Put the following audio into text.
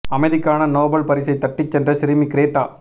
அமைதிக்கான நோபல் பரிசை தட்டி சென்ற சிறுமி கிரேட்டா